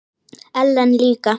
Ellen líka.